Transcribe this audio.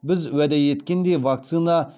біз уәде еткендей вакцина